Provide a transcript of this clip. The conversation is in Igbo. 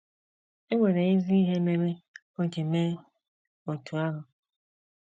E nwere ezi ihe mere o ji mee otú ahụ.